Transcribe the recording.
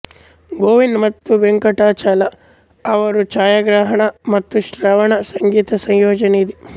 ಗೋವಿಂದ್ ಮತ್ತು ವೆಂಕಟಾಚಲ ಅವರ ಛಾಯಾಗ್ರಹಣ ಮತ್ತು ಶರ್ವಣ ಸಂಗೀತ ಸಂಯೋಜನೆ ಇದೆ